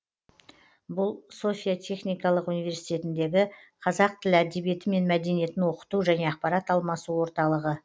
бұл софия техникалық университетіндегі қазақ тілі әдебиеті мен мәдениетін оқыту және ақпарат алмасу орталығы